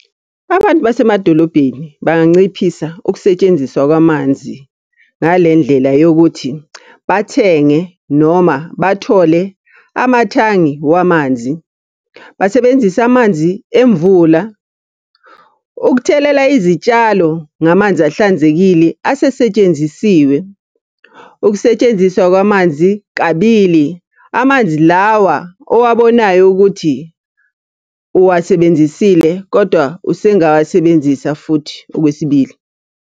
Abantu basemadolobheni banganciphisa ukusetshenziswa kwamanzi ngale ndlela yokuthi, bathenge noma bathole amathangi wamanzi. Basebenzise amanzi emvula. Ukuthelela izitshalo ngamanzi ahlanzekile asesetshenzisiwe. Ukusetshenziswa kwamanzi kabili. Amanzi lawa owabonayo ukuthi uwasebenzisile kodwa usengawasebenzisa futhi okwesibili.